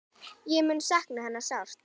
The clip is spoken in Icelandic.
Ég mun sakna hennar sárt.